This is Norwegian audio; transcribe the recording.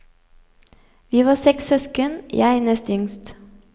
Vi var seks søsken, jeg nest yngst.